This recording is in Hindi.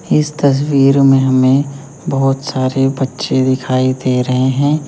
इस तस्वीर में हमें बहुत सारे बच्चे दिखाई दे रहे हैं।